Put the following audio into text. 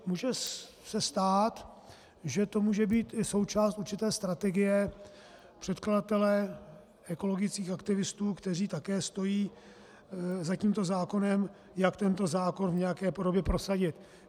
Může se stát, že to může být i součást určité strategie předkladatele, ekologických aktivistů, kteří také stojí za tímto zákonem, jak tento zákon v nějaké podobě prosadit.